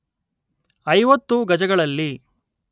ಐವತ್ತು ಗಜಗಳಲ್ಲಿ